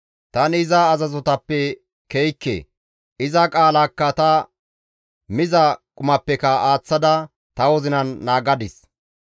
Tani iza azazotappe ke7ikke; iza qaalaakka ta miza qumappeka aaththada ta wozinan naagadis.